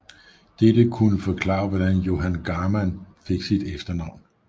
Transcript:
Dette kunne forklare hvordan Johan Garmann fik sit efternavn